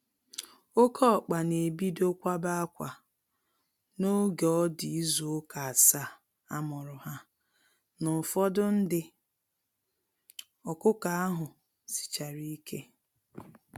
Oke ọkpa na ebido kwaba akwa n'oge ọdi ịzụ ụka asaa amuru ha na ụfọdụ ndị ọkụkọ ahụ sichárá ike.